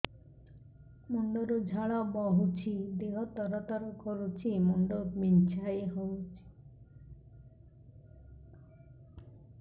ମୁଣ୍ଡ ରୁ ଝାଳ ବହୁଛି ଦେହ ତର ତର କରୁଛି ମୁଣ୍ଡ ବିଞ୍ଛାଇ ହଉଛି